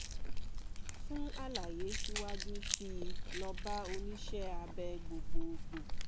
fún àlàyé síwájú sí i lọ bá oníṣẹ́ abẹ gbogbogbò